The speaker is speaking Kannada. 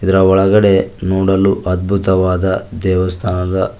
ಇದ್ರ ಒಳಗಡೆ ನೋಡಲು ಅದ್ಭುತವಾದ ದೇವಸ್ಥಾನದ--